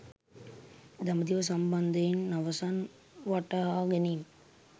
දඹදිව සම්බන්ධයෙන් අවසන් වටහා ගැනීම